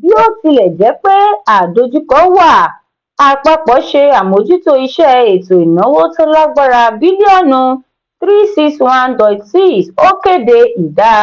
bó tile je pe àdojúko wà àpapọ se amojuto iṣe ètò ìnáwó tó lágbára bílíọ̀nù three six one dot six ó kéde ìdá